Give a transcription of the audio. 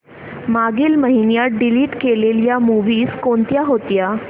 मागील महिन्यात डिलीट केलेल्या मूवीझ कोणत्या होत्या